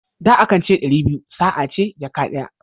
Da, a kan ce ɗari biyu sa a ce jaka daya.